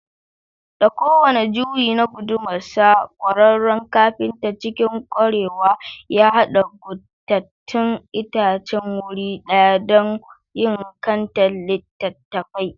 Da kowane juyi na gudumarsa, kwararren kafintan, cikin kwarewa ya haɗa guntattain itacen wuri ɗaya don yin kantar littattafai.